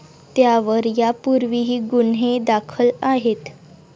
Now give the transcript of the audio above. त्यावर यापूर्वीही गुन्हे दाखल आहेत.